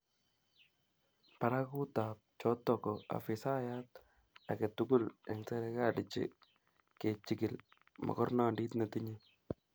Barakutap choto ko afisayat age tugul eng serkali kechikil mogornondit netinyei